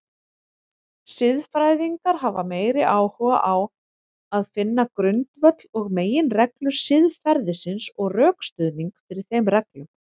Siðfræðingar hafa meiri áhuga á finna grundvöll og meginreglur siðferðisins og rökstuðning fyrir þeim reglum.